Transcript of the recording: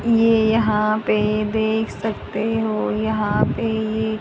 ये यहां पे देख सकते हो यहां पे ये--